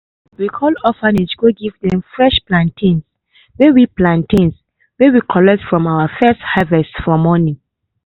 we call orphanage go give dem fresh plantains wey we plantains wey we collect from our first harvest for morning.